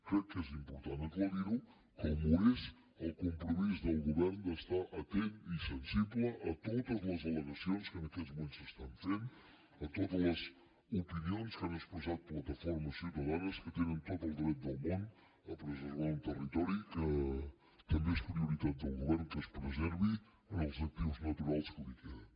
crec que és important aclarir ho com ho és el compromís del govern d’estar atent i sensible a totes les allegacions que en aquests moments s’estan fent a totes les opinions que han expressat plataformes ciutadanes que tenen tot el dret del món a preservar un territori que també és prioritat del govern que es preservi en els actius naturals que li queden